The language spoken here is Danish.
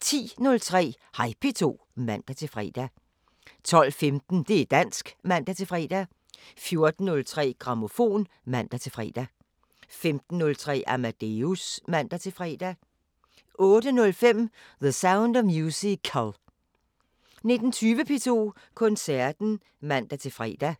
10:03: Hej P2 (man-fre) 12:15: Det´ dansk (man-fre) 14:03: Grammofon (man-fre) 15:03: Amadeus (man-fre) 18:05: The Sound of Musical 19:20: P2 Koncerten (man-fre)